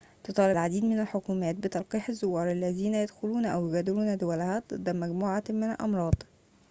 تطالب العديد من الحكومات بتلقيح الزوار الذين يدخلون أو يغادرون دولها ضد مجموعة من الأمراض